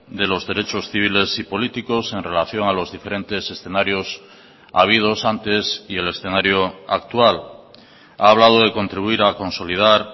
de los derechos civiles y políticos en relación a los diferentes escenarios habidos antes y el escenario actual ha hablado de contribuir a consolidar